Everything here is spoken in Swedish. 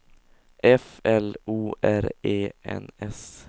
F L O R E N S